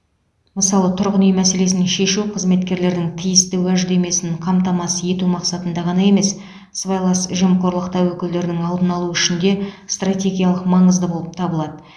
мысалы тұрғын үй мәселесін шешу қызметкерлердің тиісті уәждемесін қамтамасыз ету мақсатында ғана емес сыбайлас жемқорлық тәуекелдерінің алдын алу үшін де стратегиялық маңызды болып табылады